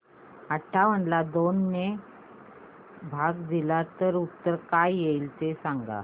अठावन्न ला दोन ने भाग दिला तर उत्तर काय येईल ते सांगा